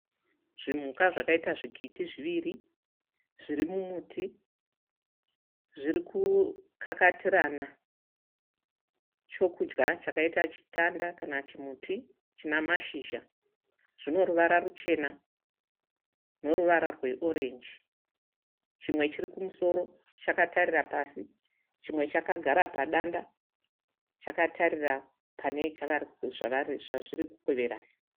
Zvimhuka zvakaita zvikiti zviviri zviri mumuti zviri kukakatirana chokudya chakaita chitanda kana chimuti china mashizha zvino ruvara ruchena noruvara rweorenji chimwe chiri kumusoro chakatarira pasi chimwe chakagara padanda chakatarira pane zvazviri kukweverana.